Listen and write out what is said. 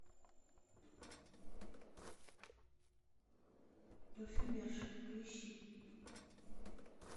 парфюмерша поищи